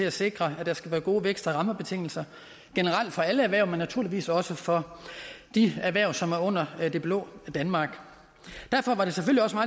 at sikre at der skal være gode vækst og rammebetingelser generelt for alle erhverv men naturligvis også for de erhverv som er under det blå danmark derfor